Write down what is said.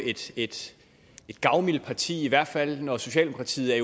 et gavmildt parti i hvert fald når socialdemokratiet er